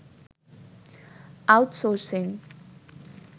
outsourcing